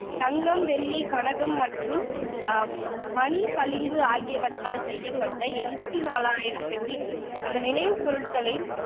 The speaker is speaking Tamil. தங்கம், வெள்ளி, கனகம் அஹ் மற்றும் மணிப்பளிங்கு ஆகியவற்றால் செய்யப்பட்ட எண்பத்தி நாலாயிரம் பெட்டிகள் அந்த நினைவுப் பொருட்களின்